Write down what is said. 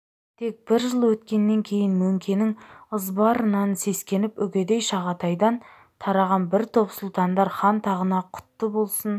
тек бір жыл өткеннен кейін мөңкенің ызбарынан сескеніп үгедей жағатайдан тараған бір топ сұлтандар хан тағына құтты болсын